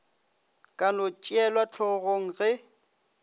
ka no tšeelwa hlogong ge